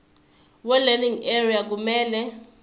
welearning area kumele